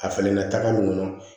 A falenna taga mun kɔnɔ